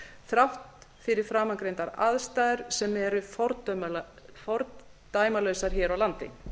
þrátt fyrir framangreindar aðstæður sem eru fordæmalausar hér á landi